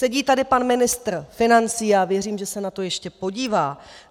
Sedí tady pan ministr financí, já věřím, že se na to ještě podívá.